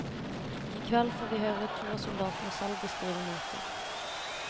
I kveld får vi høre to av soldatene selv beskrive møtet.